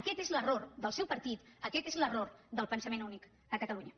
aquest és l’error del seu partit aquest és l’error del pensament únic a catalunya